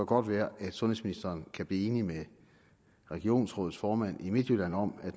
godt være at sundhedsministeren kan blive enig med regionsrådsformanden i midtjylland om at